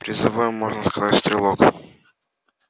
призовой можно сказать стрелок